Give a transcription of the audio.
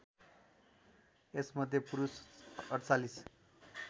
यसमध्ये पुरुष ४८